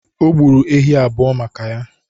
O gburu ehi abụọ maka ya.